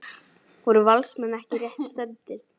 Voru Valsmenn ekki rétt stefndir?